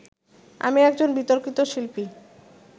আমি একজন বিতর্কিত শিল্পী